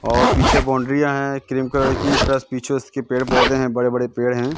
और पीछे बाउंड्रीयाँ हैं क्रीम कलर की प्लस पीछे उसके पेड़ पौधे हैं बड़े बड़े पेड़ हैं।